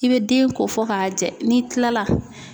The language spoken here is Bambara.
I bɛ den ko fɔ k'a jɛ n'i kila la